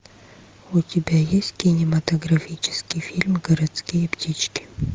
у тебя есть кинематографический фильм городские птички